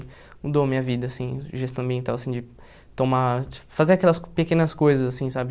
Mudou a minha vida, assim, gestão ambiental, assim, de tomar... Fazer aquelas pequenas coisas, assim, sabe?